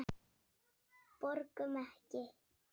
Borgum Ekki!